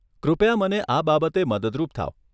કૃપયા મને આ બાબતે મદદરૂપ થાવ.